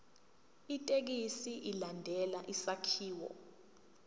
ithekisthi ilandele isakhiwo